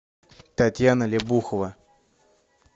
татьяна лебухова